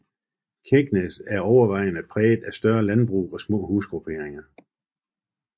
Kegnæs er overvejende præget af større landbrug og små husgrupperinger